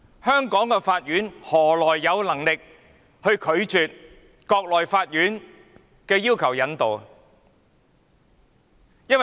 香港法院何來有能力拒絕國內法院的引渡要求？